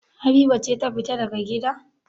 Habiba ce ta fita daga gida?